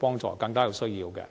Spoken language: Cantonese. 幫助更多有需要的人。